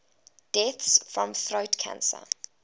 deaths from throat cancer